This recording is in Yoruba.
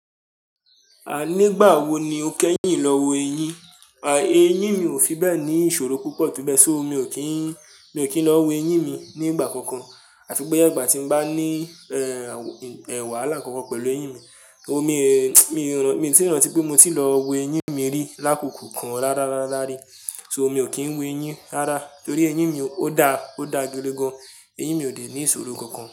A nígbà wo ni o kẹ́yìn lọ wo eyín? A, eyín mi ò fi bẹ́ẹ̀ ní ìṣòro púpọ̀, tó bẹ́ẹ̀ só mi ò kín lọ wo eyín mi ní ìgbà kankan. Àti pé ígbà tí n bá ní, ẹ, ẹwà lákànkan pẹ̀lú eyin mi, o mi, mi ò tíì rántí pé mo ti lọ wo eyín mi rí lákoko kan rárá rárá rí. So mi ò kín wo eyín rárá torí eyín mi ò dá, ò dá gidi gan. Eyín mi ò dé ní ìṣòro kankan.